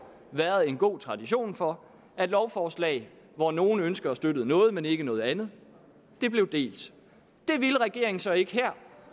været en god tradition for at lovforslag hvor nogle ønskede at støtte noget men ikke noget andet blev delt det ville regeringen så ikke her